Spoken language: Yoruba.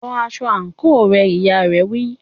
Lọ aṣọ àǹkóò rẹ, ìyá rẹ̀ wí.